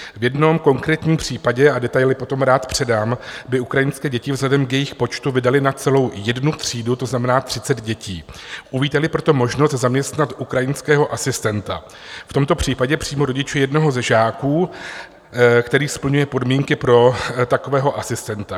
V jednom konkrétním případě, a detaily potom rád předám, by ukrajinské děti vzhledem k jejich počtu vydaly na celou jednu třídu, to znamená 30 dětí, uvítali proto možnost zaměstnat ukrajinského asistenta, v tomto případě přímo rodiče jednoho ze žáků, který splňuje podmínky pro takového asistenta.